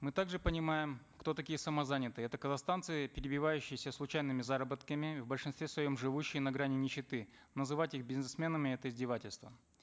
мы также понимаем кто такие самозанятые это казахстанцы перебивающиеся случайными заработками в большинстве своем живущие на грани нищеты называть их бизнесменами это издевательство